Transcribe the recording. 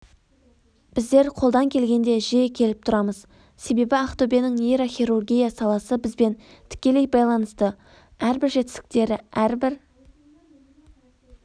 біздер қолдан келгенде жиі келіп тұрамыз себебі ақтөбенің нейрохирургия саласы бізбен тікелей байланысты әрбір жетістіктері әрбір